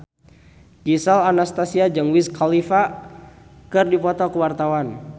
Gisel Anastasia jeung Wiz Khalifa keur dipoto ku wartawan